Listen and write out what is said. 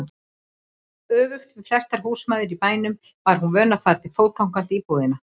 Öfugt við flestar húsmæður í bænum var hún vön að fara fótgangandi í búðina.